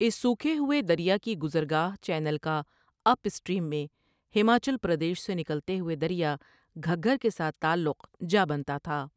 اس سُوکھے ہوئے دریا کی گزرگاہ چینل کا اپ سٹریم میں ہماچل پردیش سے نکلنے والے دریا گھگھر کے ساتھ تعلق جا بنتا تھا ۔